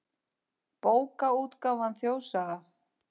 Bókaútgáfan Þjóðsaga.